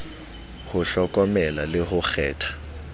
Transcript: ho hlokomela le ho kgetha